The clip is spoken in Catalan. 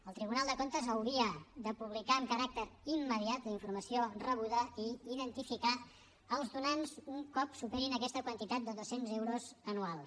el tribunal de comptes hauria de publicar amb caràcter immediat la informació rebuda i identificar els donants un cop superin aquesta quantitat de dos cents euros anuals